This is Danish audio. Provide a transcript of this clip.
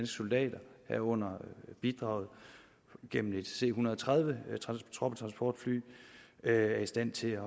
soldater herunder bidraget gennem et c en hundrede og tredive troppetransportfly er i stand til